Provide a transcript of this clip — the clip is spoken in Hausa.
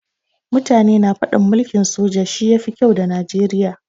Mutane na faɗin mulkin soja shi ya fi kyau da Najeriya.